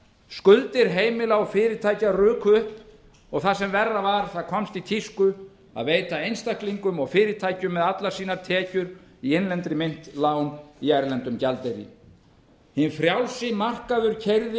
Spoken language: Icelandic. skuldir heimila og fyrirtækja ruku upp og það sem verra var það komst í tísku að veita einstaklingum og fyrirtækjum með allar sínar tekjur í innlendri mynt lán í erlendum gjaldeyri hinn frjálsi markaður keyrði